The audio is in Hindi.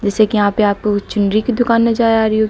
जैसे कि यहां पे आपको कुछ चुनरी की दुकान नजर आ रही होगी।